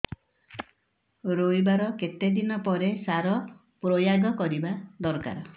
ରୋଈବା ର କେତେ ଦିନ ପରେ ସାର ପ୍ରୋୟାଗ କରିବା ଦରକାର